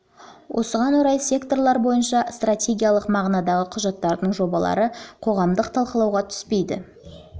осыған орай секторлар бойынша стратегиялық мағынадағы құжаттардың жобалары қоғамдық талқылауға түспейді